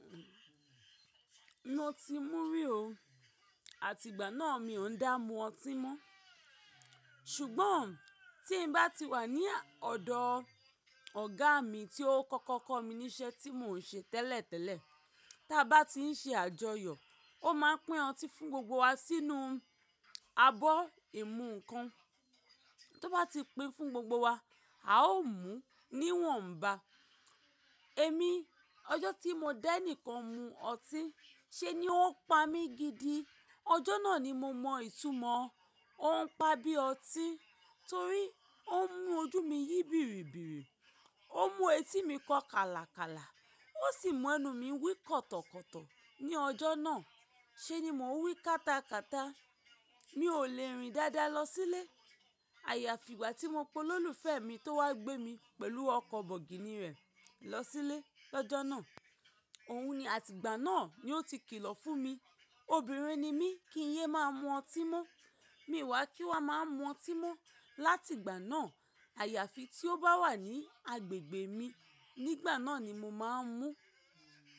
Mo ti mú rí o, àtìgbà náà mi ò ń dá mú ọtí mọ́. Ṣùgbọ́n tí n bá ti wà ní ọ̀dọ̀ ọ̀gá mi tí ó kọ́kọ́ kọ́ mi ní iṣẹ́ tí mò ń ṣe tẹ́lẹ̀tẹ́lẹ̀, tí a bá ti ń ṣe àjọyọ̀, ó máa pín ọtí fún gbogbo wa sínú abọ́ ìmu nǹkan. Tí ó bá ti pín fún gbogbo wa, a ó mú níwọ̀nba. Èmi, ọjọ́ tí mo danìkan mú ọtí, ṣe ni ó pa mí gidi. Ọjọ́ náà ni mo mọ ìtumọ̀ ó ń pa bí ọtí torí ó ń mú ojú mi yí bìrìbìrì, ó ń mú etí mi kọ́ kalakala, ó sì mú ẹnu mi wí kọ̀tọ̀kọ̀tọ̀ ní ọjọ́ náà. Ṣé ni mò ń wí kátakàta. Mi ò le rìn dáadáa lọ sílé. Àyàfi ìgbà tí mo pe olóòlùfẹ́mi tó wá gbé mi pẹ̀lú ọkọ̀ bọ̀gìnì rẹ lọ sílé lọ́jọ́ náà. Òun ni àtìgbà náà ni ó ti kìlọ̀ fún mi. Obìnrin ni mí, kí ń yé máa mú ọtí mọ́. Mi ò wá kí wà máa mú ọtí mọ́. Láti ìgbà náà, àyàfi tí ó bá wà ní agbègbè mi nígbà náà ni mo máa ń mú.